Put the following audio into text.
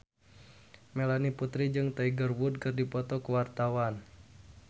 Melanie Putri jeung Tiger Wood keur dipoto ku wartawan